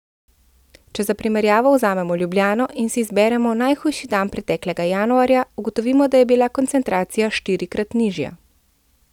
Če za primerjavo vzamemo Ljubljano in si izberemo najhujši dan preteklega januarja, ugotovimo, da je bila koncentracija štirikrat nižja.